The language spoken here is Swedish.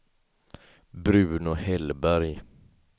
Bruno Hellberg